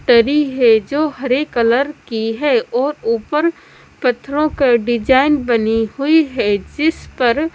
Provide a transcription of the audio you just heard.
तरी है जो हरे कलर की है और ऊपर पत्थरों के डिजाइन बनी हुई है जिस पर--